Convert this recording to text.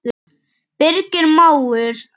Birgir mágur.